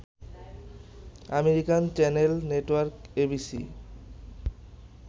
American channel network ABC